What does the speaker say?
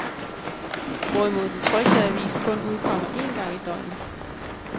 Hvorimod den trykte avis kun udkommer en gang i døgnet.